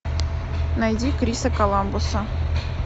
найди криса коламбуса